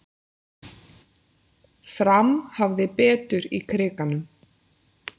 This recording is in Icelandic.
Fram hafði betur í Krikanum